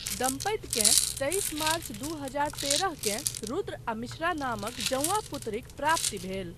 दम्पतिकेँ तेइस मार्च दू हजार तेरहकेँ रुद्र आ मिश्रा नामक जऊँआ पुत्रीक प्राप्ति भेल।